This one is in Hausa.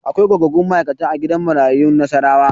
Akwai gogaggun ma'aikata a gidan marayu na Nassarawa.